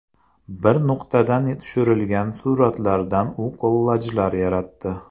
Bir nuqtadan tushirilgan suratlardan u kollajlar yaratdi.